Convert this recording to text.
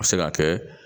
A bɛ se ka kɛ